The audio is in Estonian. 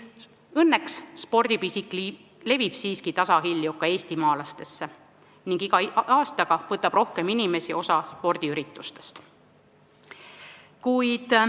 Õnneks levib spordipisik siiski tasahilju ka eestimaalaste seas ning iga aastaga võtab spordiüritustest osa rohkem inimesi.